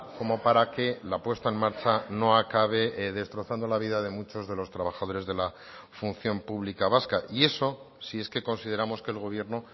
como para que la puesta en marcha no acabe destrozando la vida de muchos de los trabajadores de la función pública vasca y eso si es que consideramos que el gobierno